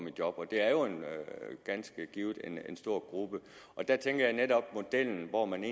i job og det er jo ganske givet en stor gruppe der tænker jeg netop at modellen hvor man